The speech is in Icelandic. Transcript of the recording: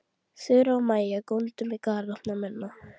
Þura og Maja góndu með galopna munna.